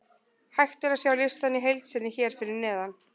Hægt er að sjá listann í heild sinni hér fyrir neðan: